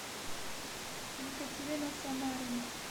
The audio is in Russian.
екатерина самарина